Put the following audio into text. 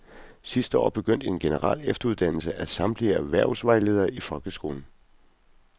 Sidste år begyndte en generel efteruddannelse af samtlige erhvervsvejledere i folkeskolen.